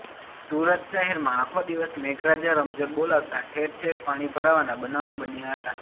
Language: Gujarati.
સુરત શહેરમાં આખો દિવસ મેઘરાજા રમઝટ બોલાવતા ઠેરઠેર પાણી ભરાવાના બનાવો બન્યા હતા